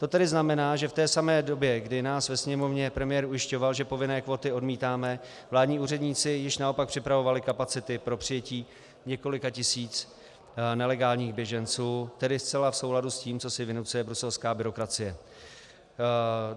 To tedy znamená, že v té samé době, kdy nás ve Sněmovně premiér ujišťoval, že povinné kvóty odmítáme, vládní úředníci již naopak připravovali kapacity pro přijetí několika tisíc nelegálních běženců, tedy zcela v souladu s tím, co si vynucuje bruselská byrokracie.